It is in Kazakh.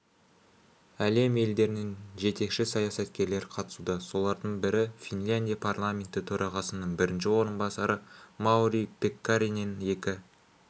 әлем елдерінің жетекші саясаткерлері қатысуда солардың бірі финляндия парламенті төрғасының бірінші орынбасары маури пеккаринен екі